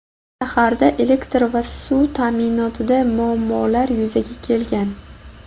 Shaharda elektr va suv ta’minotida muammolar yuzaga kelgan.